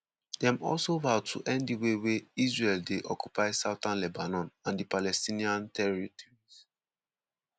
dem also vow to end di way wey israel dey occupy southern lebanon and di palestinian territories.